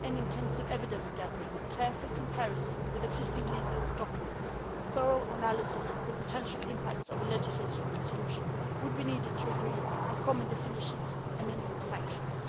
Long and intensive evidence gathering, careful comparison with existing legal documents, and thorough analysis of the potential impact of a legislative solution would be needed to agree on common definitions and minimum sanctions.